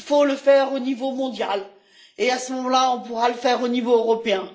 Il faut le faire au niveau mondial et à ce moment là, on pourra le faire au niveau européen.